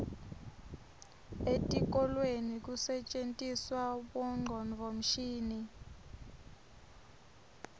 etikolweni kusetjentiswa bongcondvomshini